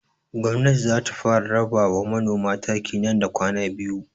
Gwamnatin za ta raba wa manoman taki nan da kwana biyu.